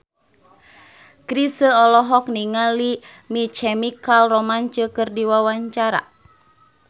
Chrisye olohok ningali My Chemical Romance keur diwawancara